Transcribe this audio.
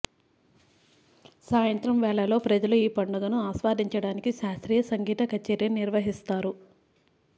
సాయంత్రం వేళలో ప్రజలు ఈ పండుగను ఆస్వాదించడానికి శాస్త్రీయ సంగీత కచేరీని నిర్వహిస్తారు